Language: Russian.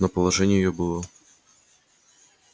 но положение её было отчаянное